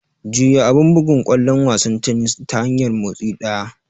Juya abun bugun ƙwallon wasan tennis ta hanyar motsi ɗaya.